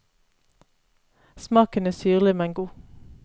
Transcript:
Smaken er syrlig, men god.